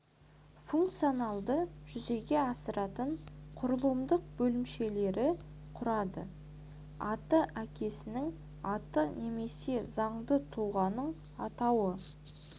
функцияларды жүзеге асыратын құрылымдық бөлімшелері құрады аты әкесінің аты немесе заңды тұлғаның атауы